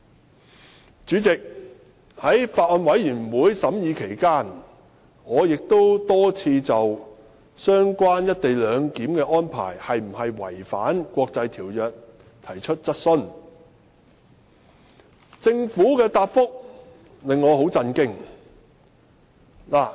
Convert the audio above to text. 代理主席，在《條例草案》審議期間，我已多次就"一地兩檢"安排是否違反國際條約提出質詢，但政府的答覆令我很震驚。